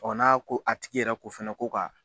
n'a ko a tigi yɛrɛ ko fana ko ka